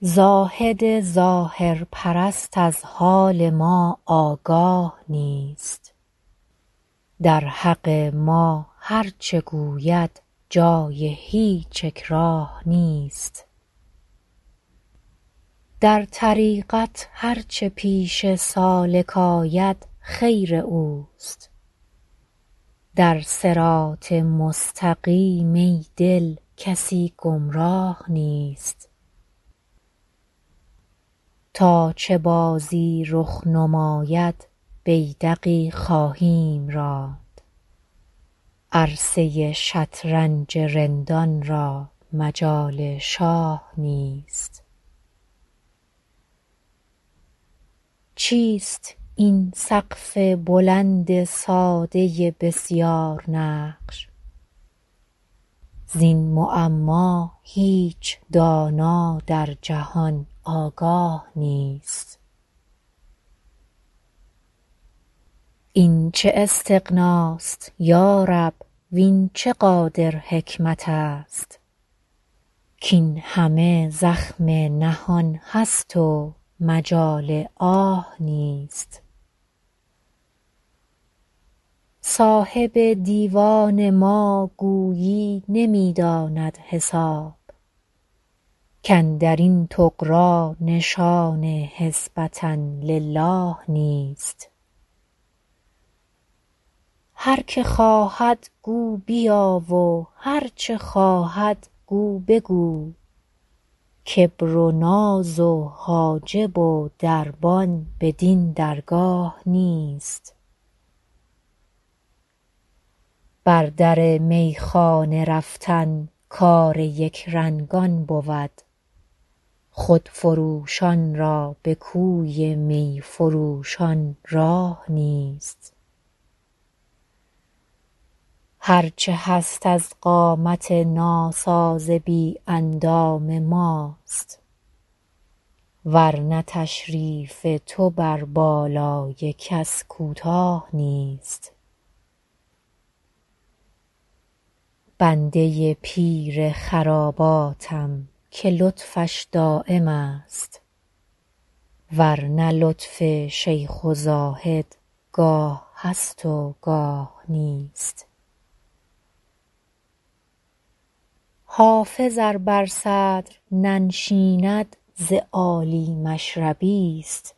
زاهد ظاهرپرست از حال ما آگاه نیست در حق ما هرچه گوید جای هیچ اکراه نیست در طریقت هرچه پیش سالک آید خیر اوست در صراط مستقیم ای دل کسی گمراه نیست تا چه بازی رخ نماید بیدقی خواهیم راند عرصه ی شطرنج رندان را مجال شاه نیست چیست این سقف بلند ساده بسیارنقش زین معما هیچ دانا در جهان آگاه نیست این چه استغناست یا رب وین چه قادر حکمت است کاین همه زخم نهان است و مجال آه نیست صاحب دیوان ما گویی نمی داند حساب کاندر این طغرا نشان حسبة للٰه نیست هر که خواهد گو بیا و هرچه خواهد گو بگو کبر و ناز و حاجب و دربان بدین درگاه نیست بر در میخانه رفتن کار یکرنگان بود خودفروشان را به کوی می فروشان راه نیست هرچه هست از قامت ناساز بی اندام ماست ور نه تشریف تو بر بالای کس کوتاه نیست بنده ی پیر خراباتم که لطفش دایم است ور نه لطف شیخ و زاهد گاه هست و گاه نیست حافظ ار بر صدر ننشیند ز عالی مشربی ست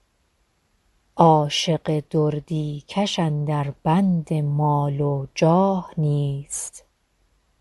عاشق دردی کش اندر بند مال و جاه نیست